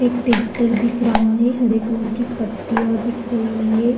एक ट्रैक्टर दिख रहा है। हरे कलर की पत्तियां दिख रही है।